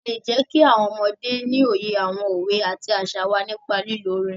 A lè jẹ́kí àwọn ọmọdé ní òye àwọn òwe àti àṣà wá nípa lílo orin.